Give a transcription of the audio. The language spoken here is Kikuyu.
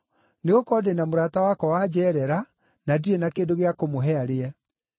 nĩgũkorwo ndĩ na mũrata wakwa wanjeerera, na ndirĩ na kĩndũ gĩa kũmũhe arĩe.’